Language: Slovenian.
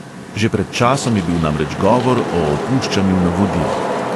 Že pred časom je bil namreč govor o opuščanju navodil.